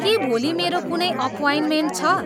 के भोलि मेरो कुनै अप्वइन्मेन्ट छ